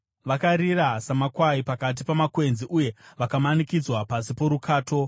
Vakarira samakwai pakati pamakwenzi, uye vakamanikidzana pasi porukato.